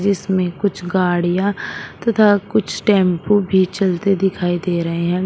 जिसमें कुछ गाड़ियां तथा कुछ टेंपो भी चलते दिखाई दे रहे हैं।